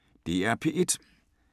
DR P1